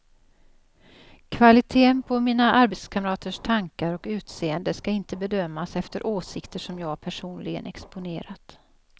Kvaliteten på mina arbetskamraters tankar och utseende ska inte bedömas efter åsikter som jag personligen exponerat.